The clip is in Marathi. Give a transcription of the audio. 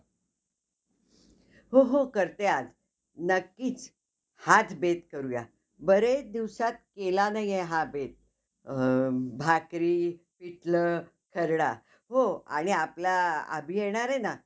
अह त्यांचा कधी त्यांना दोघांना एकत्र नाही आणलं. तर आता second part मध्ये काय माहित ते काय करतील? दोघांना एकत्र आणणार आहे की, अह त्यामध्ये पण त्यांना अं म्हणजे दूर करणार आहे, ते आता आपल्याला बघितल्यावरच कळंन. अह